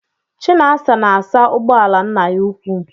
Chinasa na-asa ụgbọala nna ya ukwuu.